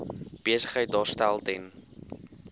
besigheid daarstel ten